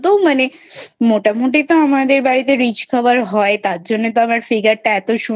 মানে মোটামোটি তো আমাদের বাড়িতে Rich খাবার হয় তার জন্য তো আমার Figur টা